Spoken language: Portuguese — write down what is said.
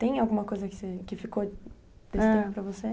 Tem alguma coisa que você, que ficou desse tempo para você?